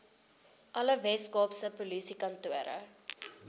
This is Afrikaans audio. alle weskaapse polisiekantore